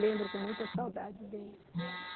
Lembro com muita saudade dele.